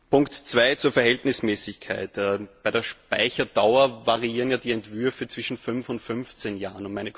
Punkt 2 zur Verhältnismäßigkeit Bei der Speicherdauer variieren die Entwürfe zwischen 5 und 15 Jahren.